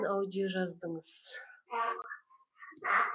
аудио жаздыңыз